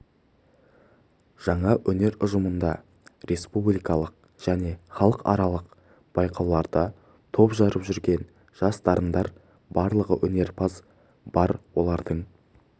жаңа өнер ұжымында республикалық және халықаралық байқауларда топ жарып жүрген жас дарындар барлығы өнерпаз бар олардың